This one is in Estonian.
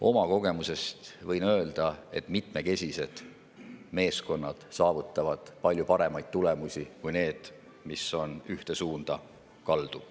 Oma kogemusest võin öelda, et mitmekesised meeskonnad saavutavad palju paremaid tulemusi kui need, mis on ühte suunda kaldu.